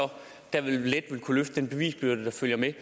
derved let ville kunne løfte den bevisbyrde der følger med